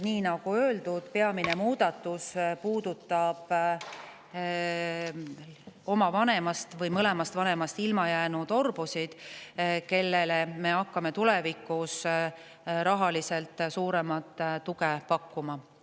Nagu öeldud, peamine muudatus puudutab oma vanemast või mõlemast vanemast ilma jäänud orbusid, kellele me hakkame tulevikus rahaliselt suuremat tuge pakkuma.